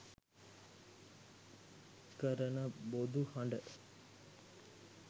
කරන බොදු හඬ